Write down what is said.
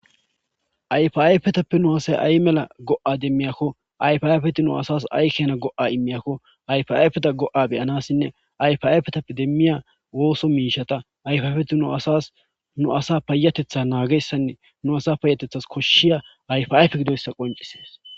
ayf7ayfetappe nu asay ay mela go7a demmiyakko ayfiayfeti nu asas aykena go7a immiyakko ayfayfeta go7a beyanassinne ayfayfetappe demmiya wooso miishata ayfyfeti nu asas nu asa payatetha naagessanne nu asa payatethas koshshiya ayfayfe gidoyssa qoncisees